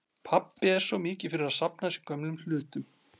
Pabbi er svo mikið fyrir að safna að sér gömlum hlutum.